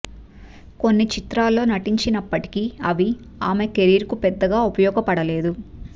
కొన్ని చిత్రాల్లో నటించించినప్పటికీ అవి ఆమె కెరీర్ కు పెద్దగా ఉపయోగపడలేదు